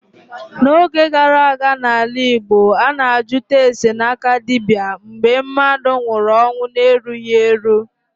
N'oge gara aga n'ala Igbo, a na-ajụta ase n'aka dibịa mgbe mmadụ nwụrụ ọnwụ erughị eru.